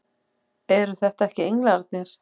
Eru þetta ekki englarnir!